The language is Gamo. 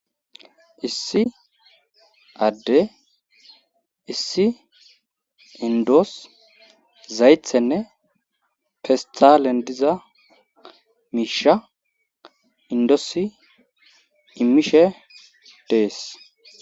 Issi adde issi indoos zaythenne festalen diza miisha indoosi imishe dees